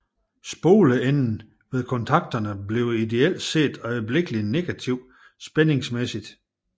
Spoleenden ved kontakterne bliver ideelt set øjeblikkelig negativ spændingsmæssigt